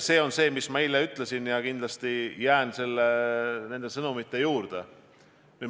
Seda ma eile ütlesin ja jään kindlasti nende sõnade juurde.